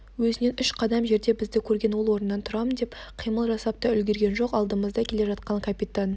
өзінен үш қадам жерде бізді көрген ол орнынан тұрам деп қимыл жасап та үлгерген жоқ алдымызда келе жатқан капитан